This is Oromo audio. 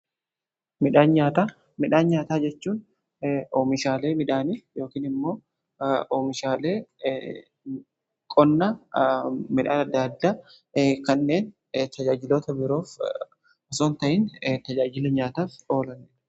Midhaan nyaataa: Midhaan nyaataa jechuun oomishaalee midhaanii yookin immoo oomishaale qonna midhaan adda addaa kanneen tajaajilota biroof osoo hin tajaajilin nyaataaf oolanidha.